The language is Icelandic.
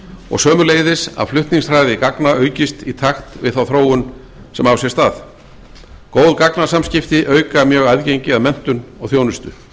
og sömuleiðis að flutningshraði gagna aukist í takt við þá þróun sem á sér stað góð gagnasamskipti auka mjög aðgengi að menntun og þjónustu